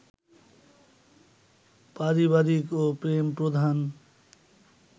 পারিবারিক ও প্রেমপ্রধান